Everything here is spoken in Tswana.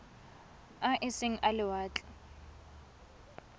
a e seng a lewatle